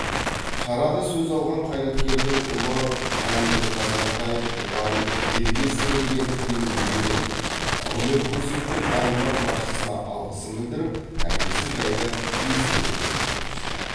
шарада сөз алған қайраткердің ұлы ғанибек қазантаев тұлғаның елге сіңірген еңбегін елеп құрмет көрсеткен аймақ басшысына алғысын білдіріп әкесі жайлы естелігімен бөлісті